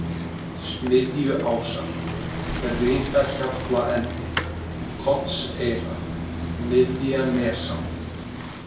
Smiðjuásar, Brytahjallaendi, Kollseyra, Miðjanesá